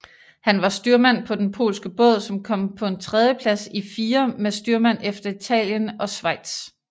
Han var styrmand på den polske Båd som kom på en tredjeplads i fire med styrmand efter Italien og Schweiz